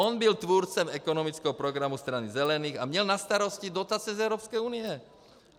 On byl tvůrcem ekonomického programu Strany zelených a měl na starosti dotace z Evropské unie.